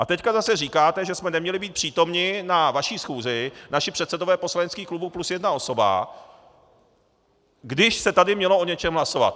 A teď zase říkáte, že jsme neměli být přítomni na vaší schůzi, naši předsedové poslaneckých klubů plus jedna osoba, když se tady mělo o něčem hlasovat.